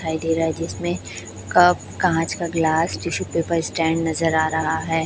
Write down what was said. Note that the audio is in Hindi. दिखाई दे रहा है जिसमे कप काँच का ग्लास टिशू पेपर स्टैंड नजर आ रहा है।